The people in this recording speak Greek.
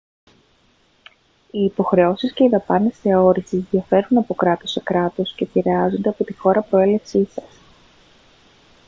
οι υποχρεώσεις και οι δαπάνες θεώρησης διαφέρουν από κράτος σε κράτος και επηρεάζονται από τη χώρα προέλευσής σας